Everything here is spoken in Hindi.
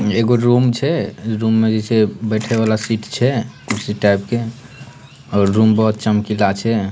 एगो रूम छै रूम में जे छै बैठे वाला शीट छै कुर्सी टाइप के और रूम बहुत चमकीला छै।